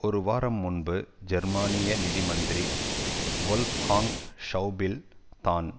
ஒரு வாரம் முன்பு ஜெர்மனிய நிதி மந்திரி வொல்ப்காங் ஷெளபில் தான்